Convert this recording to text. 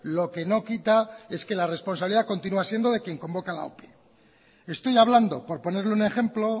lo que no quita es que la responsabilidad continúa siendo de quien convoca la ope estoy hablando por ponerle un ejemplo